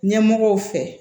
Ɲɛmɔgɔw fɛ